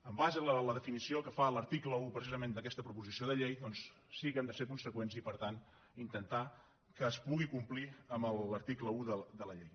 en base a la definició que fa l’article un precisament d’aquesta proposició de llei doncs sí que hem de ser conseqüents i per tant intentar que es pugui complir amb l’article un de la llei